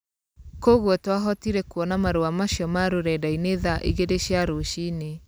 Kwoguo twahotire kuona marũa macio ma rũrendainĩ tha igĩrĩ cia rũcinĩ.